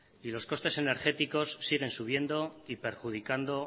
y los costes energéticos siguen subiendo y perjudicando